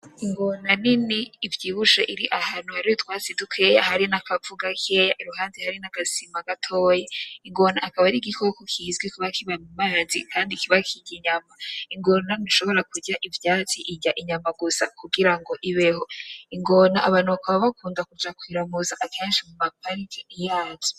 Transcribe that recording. Ingona nini ivyibushe iri ahantu hari utwatsi dukeya hari n'akavu gakeya iruhande hari n'agasima gatoyi ingona akaba ari igikoko kizwi kuba kiba mu mazi kandi kiba kirya inyama ingona ntishobora kurya ivyatsi irya inyama gusa kugirango ibeho ingona abantu bakaba bakunda kuja kuyiramutsa akenshi muma parke yaje.